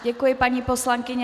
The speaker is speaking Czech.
Děkuji, paní poslankyně.